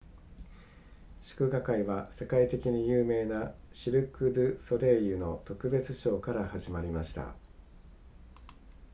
祝賀会は世界的に有名なシルクドゥソレイユの特別ショーから始まりました